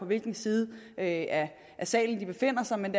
hvilken side af salen de befinder sig men